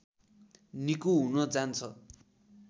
निको हुन जान्छ